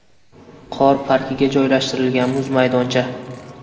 Qor parkiga joylashtirilgan muz maydoncha.